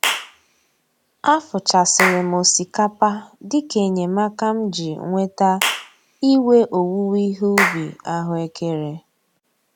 Afụchasịrị m osikapa dịka enyemaka m ji nweta iwe owuwe ihe ubi ahụekere